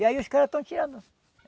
E aí os caras estão tirando.